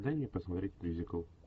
дай мне посмотреть мюзикл